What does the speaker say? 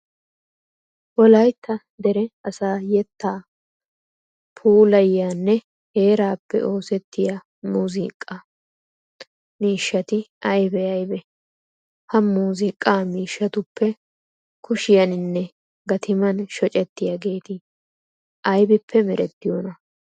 Wolaytta dere asaa yettaa puulayiyanne heeraappe oosettiya muuziiqaa. Miishshati aybee aybee ? Ha muuziiqaa miishshatuppe kushiyaninne gatiman shocettiyageeti aybippe merettiyonaa?